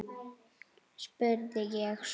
spurði ég svo.